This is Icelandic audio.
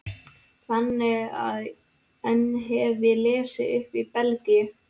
Þannig að enn hef ég ekki lesið upp í Belgíu.